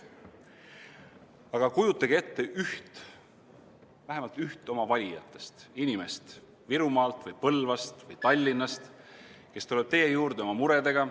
Aga kujutage ette üht, vähemalt üht oma valijatest: inimest Virumaalt või Põlvast või Tallinnast, kes tuleb teie juurde oma murega.